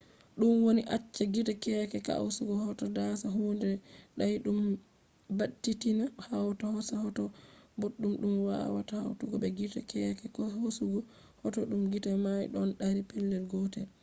ɗum ɗon acca gite keeke hoasugo hoto dasa hunde dayɗum baditina hawta hoosa hoto boɗɗum ɗum wawata hawtugo be gite keeke hosugo hoto ɗum gite may ɗon dari pellel gotel